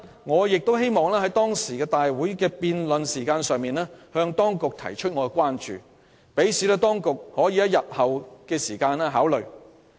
我亦希望在辯論期間向當局提出我的關注，好讓當局可以在日後考慮。